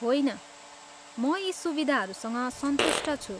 होइन। म यी सुविधाहरूसँग सन्तुष्ट छु।